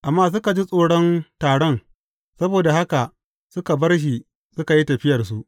Amma suka ji tsoron taron, saboda haka suka bar shi suka yi tafiyarsu.